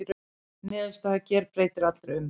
Niðurstaðan gerbreytir allri umræðu